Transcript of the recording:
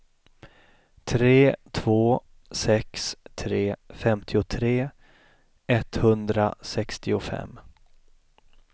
tre två sex tre femtiotre etthundrasextiofem